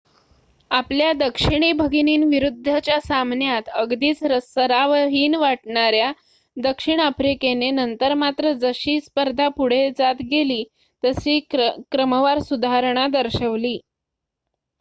आपल्या दक्षिणी भगिनींविरुद्धच्या सामन्यात अगदीच सरावहीन वाटणाऱ्या दक्षिण आफ्रिकेने नंतर मात्र जशी स्पर्धा पुढे जात गेली तसे क्रमवार सुधारणा दर्शवली